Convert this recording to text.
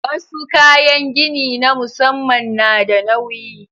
Wasu kayan gini na musamman na da nauyi.